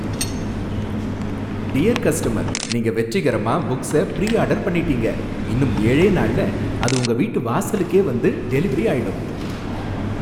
Dear customer நீங்க வெற்றிகரமா books pre order பண்ணிட்டீங்க, இன்னும் ஏழே நாள்ல அது உங்க வீட்டு வாசலுக்கே வந்து டெலிவெரி ஆயிடும்.